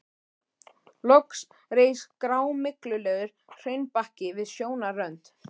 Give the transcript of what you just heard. Loks reis grámyglulegur hraunbakki við sjónarrönd.